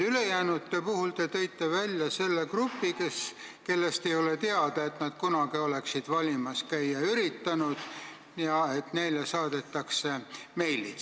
Ülejäänute seast te tõite välja selle grupi, kellest ei ole teada, et nad kunagi oleksid valimas käia üritanud, ja ütlesite, et neile saadetakse meilid.